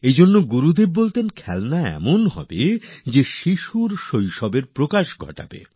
এজন্যই গুরুদেব বলতেন খেলনা এমন হতে হবে যা নাকি শিশুর শৈশবকে বের করে আনে